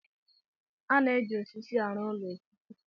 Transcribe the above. A na-eji osisi arụ ụlọ osisi.